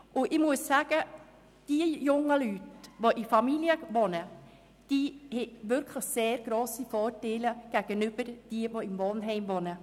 Ich muss sagen, dass die jungen Leute, die in Familien wohnen, gegenüber Bewohnern in Wohnheimen sehr grosse Vorteile haben.